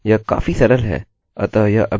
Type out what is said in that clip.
यह काफी सरल है